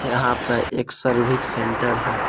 यहां पे एक सर्विक सेंटर है।